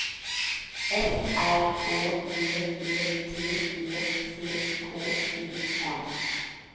F R Å G E T E C K E N